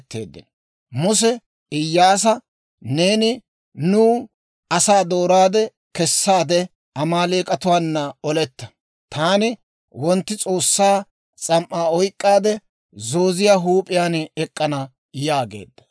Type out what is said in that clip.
Muse Iyyaasa, «Neeni nuw asaa dooraade, kessaade Amaaleek'atuwaana oletta; taani wontti S'oossaa s'am"aa oyk'k'aade, Zooziyaa huup'iyaan ek'k'ana» yaageedda.